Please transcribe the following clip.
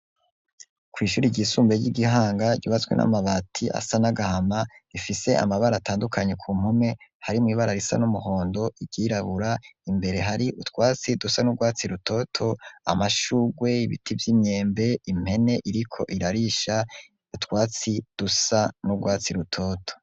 Kw'ishuri ryisumbe ry'igihanga ryubatswe n'amabati asa nagahama ifise amabara atandukanye ku mpume hari mu ibara risa n'umuhondo igirabura imbere hari utwatsi dusa n'urwatsi rutoto amashugwe ibiti by'imyembe impene iriko irarisha utwatsi dusa n'urwatsi rutoto.